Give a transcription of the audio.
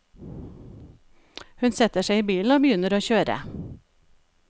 Hun setter seg i bilen og begynner å kjøre.